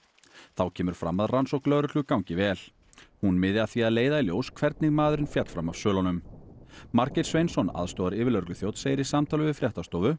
þá kemur fram að rannsókn lögreglu gangi vel hún miði að því að leiða í ljós hvernig maðurinn féll fram af svölunum Margeir Sveinsson aðstoðaryfirlögregluþjónn segir í samtali við fréttastofu